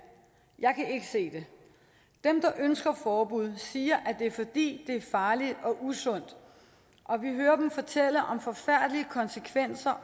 jeg kan ikke se det dem der ønsker et forbud siger at det er fordi det er farligt og usundt og vi hører dem fortælle om forfærdelige konsekvenser